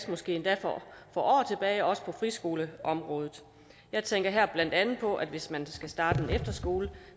måske endda for år tilbage også på friskoleområdet jeg tænker blandt andet på at hvis man skal starte en efterskole